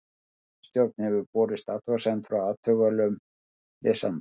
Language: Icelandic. Ritstjórn hefur borist athugasemd frá athugulum lesanda.